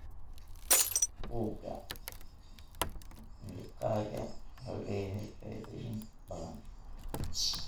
Buugga miiqaga wuxuu leeyahay faa'iidooyin badan.